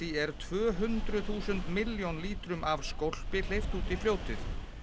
er tvö hundruð þúsund milljón lítrum af skólpi hleypt út í fljótið